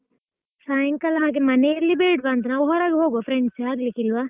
ಸಾಯಂಕಾಲ ಹಾಗೆ ಮನೆಯಲ್ಲಿ ಬೇಡ್ವಾಂತ ನಾವು ಹೊರಗ್ ಹೋಗುವ friends ಆಗ್ಲಿಕ್ಕಿಲ್ವಾ?